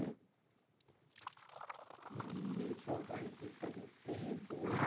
Né. E eles foram para Recife faz muito tempo? Ah